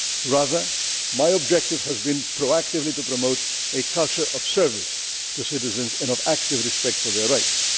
staff. Rather, my objective has been proactively to promote a culture of service to citizens and of active respect for their rights.